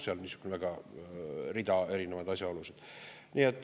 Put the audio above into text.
Seal on rida erinevaid asjaolusid.